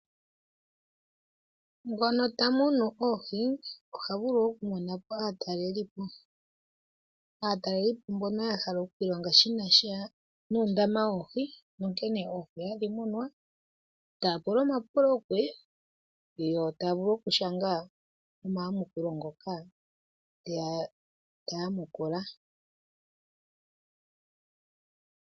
Ngono ta munu oohi oha vulu okumona po aatalelipo. Aatalelipo mbono ya hala okuilonga shi na sha nuundama woohi nonkene oohi hadhi munwa. Taya pula omapulo kuye yo taya vulu okushanga omayamukulo ngoka ta yamukula.